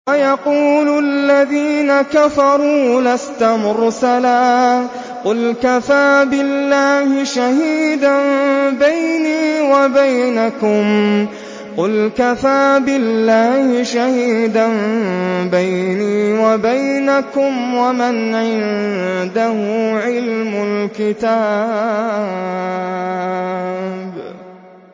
وَيَقُولُ الَّذِينَ كَفَرُوا لَسْتَ مُرْسَلًا ۚ قُلْ كَفَىٰ بِاللَّهِ شَهِيدًا بَيْنِي وَبَيْنَكُمْ وَمَنْ عِندَهُ عِلْمُ الْكِتَابِ